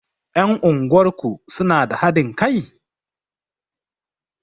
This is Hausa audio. Ƴan unguwar ku suna da haɗin kai?